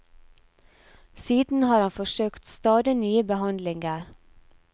Siden har han forsøkt stadig nye behandlinger.